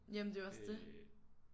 Jamen det er jo også det